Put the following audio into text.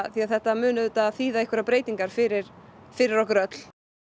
því þetta mun auðvitað þýða breytingar fyrir fyrir okkur öll